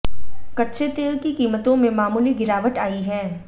कच्चे तेल की कीमतों में मामूली गिरावट आई है